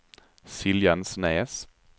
Siljansnäs